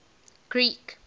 greek